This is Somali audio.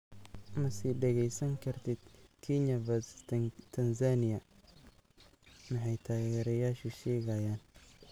Ma sii dhageysan kartid Kenya v Tanzania: Maxay taageerayaashu sheegayaan?